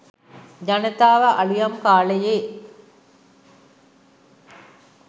ජනතාව අලුයම් කාලයේ